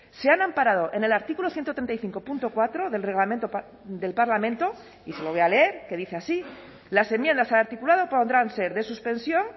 se han amparado en el artículo ciento treinta y cinco punto cuatro del reglamento del parlamento y se lo voy a leer que dice así las enmiendas al articulado podrán ser de suspensión